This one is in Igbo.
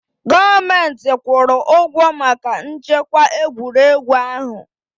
Gọọmenti kwụrụ ụgwọ maka nchekwa egwuregwu ahụ.